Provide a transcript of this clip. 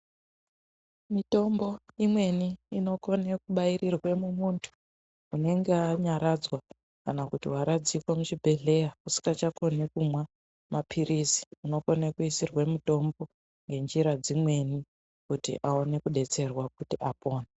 Mitombo imeni inogone kubairirwa mumuntu unenge wanyaradzwa kana kuti waradzikwa muchibhedhlera usikachakoni kumwa maapirizi unokone kuisirwa mitombo ngenzira dzimeni kutibawone kubtserwa kuti apone .